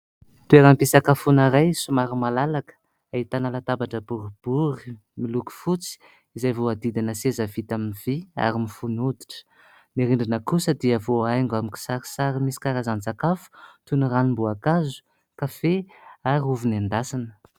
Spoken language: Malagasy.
Toeram-pisakafoana iray somary malalaka, ahitana latabatra boribory miloko fotsy izay voahodidina seza vita amin'ny vy ary mifono hoditra. Ny rindrina kosa dia voahaingo amin'ny kisarisary misy karazan-tsakafo toy ny : ranom-boankazo, kafe ary ny ovy nendasina.